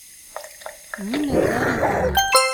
нины зариповой